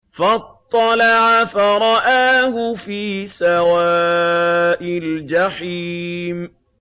فَاطَّلَعَ فَرَآهُ فِي سَوَاءِ الْجَحِيمِ